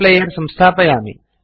player इत्यस्य संस्थापनं करोमि